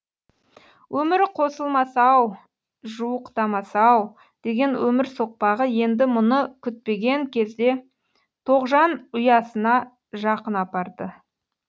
өмірі қосылмас ау жуықтамас ау деген өмір соқпағы енді мұны күтпеген кезде тоғжан ұясына жақын апарды